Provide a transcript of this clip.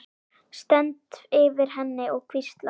Stend yfir henni og hvísla.